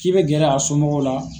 K'i bɛ gɛrɛ a somɔgɔw la.